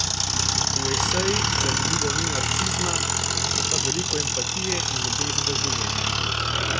V Esejih zanimivo ni narcisizma, je pa veliko empatije in ljubezni do življenja.